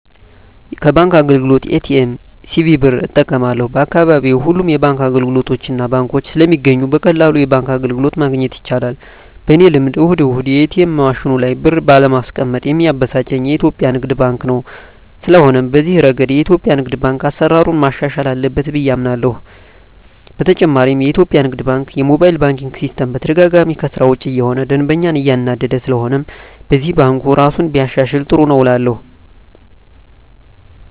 ከባንክ አገልግሎት ኤ.ቲ.ኤም፣ ሲቪ ብር እጠቀማለሁ፣ በአካባቢየ ሁሉም አይነት የባንክ አገልግሎቶችና ባንኮች ስለሚገኙ በቀላሉ የባንክ አገልግሎት ማግኘት ይቻላል። በኔ ልምድ እሁድ እሁድ የኤትኤም ማሽኑ ላይ ብር ባለማስቀመጥ ሚያበሳጨኝ የኢትዮጲያ ንግድ ባንክ ነው። ስለሆነም በዚህ እረገድ የኢትዮጲያ ንግድ ባንክ አሰራሩን ማሻሻል አለበት ብየ አምናለሆ። በተጨማሪም የኢትዮጲያ ንግድ ባንክ የሞባይል ባንኪን ሲስተም በተደጋጋሚ ከስራ ውጭ እየሆነ ደንበኛን እያናደደ ስለሆነም በዚህም ባንኩ እራሱን ቢያሻሽል ጥሩ ነው እላለሁ።